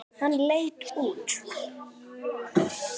Hann leit út.